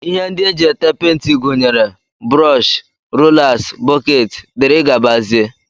Ihe ndi eji ete penti gunyere brọsh, rolas, bọket dgz.